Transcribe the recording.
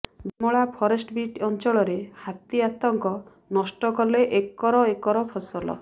Bimala forest beat ଅଞ୍ଚଳରେ ହାତୀ ଆତଙ୍କ ନଷ୍ଟ କଲେ ଏକର ଏକର ଫସଲ